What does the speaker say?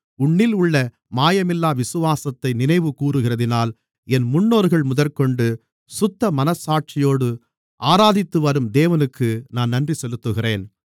உன்னிலுள்ள மாயமில்லாத விசுவாசத்தை நினைவுகூருகிறதினால் என் முன்னோர்கள் முதற்கொண்டு சுத்தமனச்சாட்சியோடு ஆராதித்துவரும் தேவனுக்கு நான் நன்றி செலுத்துகிறேன்